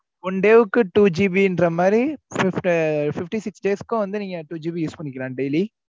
one day க்கு two GB ன்ற மாதிரி six fifty six days க்கும் வந்து நீங்க two GB யூஸ் பன்னிக்கலாம் daily